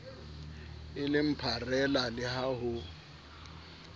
eleng pharela le ha ho